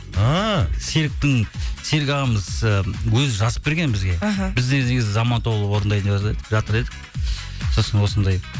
ааа серік ағамыз і өзі жазып берген бізге іхі біздер негізі заман тобы орындайын жатыр едік сосын осындай